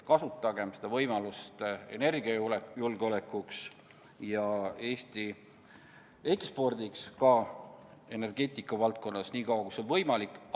Kasutagem seda võimalust energiajulgeoleku ja Eesti ekspordi huvides ka energeetika valdkonnas, niikaua kui see on võimalik!